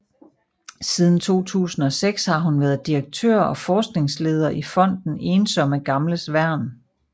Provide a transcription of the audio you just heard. Siden 2006 har hun været direktør og forskningsleder i Fonden Ensomme Gamles Værn